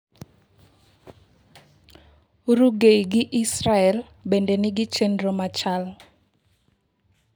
Uruguay gi Israel bende nigi chenro machal.